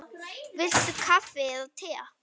Viltu kaffi eða te?